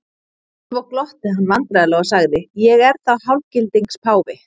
Svo glotti hann vandræðalega og sagði:-Ég er þá hálfgildings páfi?